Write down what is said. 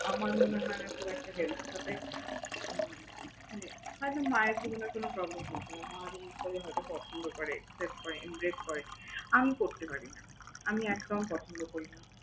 আমার মনে হয় না খুব একটা help হবে। মানে খালি মায়ের কোন না কোন problem থাকে মা যেরকম করে হয়ত পছন্দ করে, accept করে, impress করে আমি করতে পারি না। আমি একদম পছন্দ করি না।